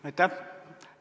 Aitäh!